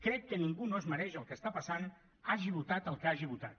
crec que ningú no es mereix el que està passant hagi votat el que hagi votat